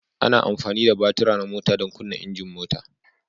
Ana amfani da batura na mota don kunna injin mota.